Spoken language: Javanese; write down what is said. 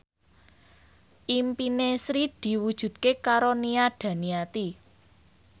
impine Sri diwujudke karo Nia Daniati